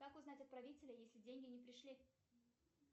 как узнать отправителя если деньги не пришли